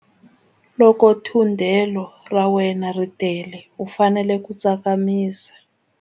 Loko thundelo ra wena ri tele u fanele ku tsakamisa.